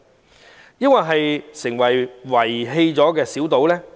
還是會令它變成被遺棄的小島呢？